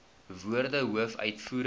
woorde hoof uitvoerende